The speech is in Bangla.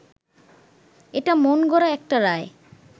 এটা মনগড়া একটা রায়